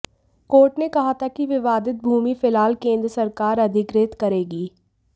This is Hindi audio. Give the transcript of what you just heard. कोर्ट ने कहा था कि विवादित भूमि फिलहाल केंद्र सरकार अधिग़ृहित करेगी